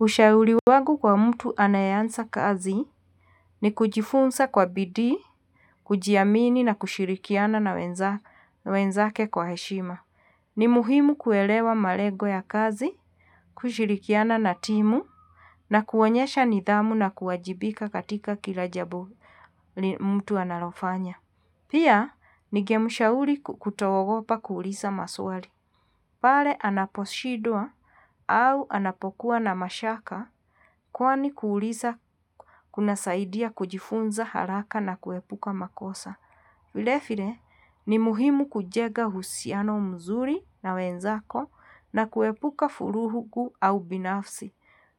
Ushauri wagu kwa mtu anayeanza kazi, ni kujifunza kwa bidi, kujiamini na kushirikiana na wenzake kwa heshima. Ni muhimu kuelewa malego ya kazi, kushirikiana na timu, na kuonyesha nidhamu na kuwajibika katika kila jabu ni mutu analofanya. Pia, nigemushauli kutoogopa kuulisa masuari. Pale anaposhidwa, au anapokuwa na mashaka, kwani kuulisa kunasaidia kujifunza haraka na kuepuka makosa. Vilefile, ni muhimu kujega husiano mzuri na wenzako na kuepuka furugu au ubinafsi,